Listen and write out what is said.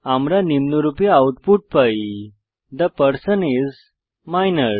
আমরা নিম্নরূপে আউটপুট পাই থে পারসন আইএস মাইনর